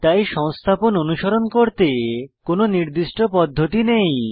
তাই সংস্থাপন অনুসরণ করতে কোনো নির্দিষ্ট পদ্ধতি নেই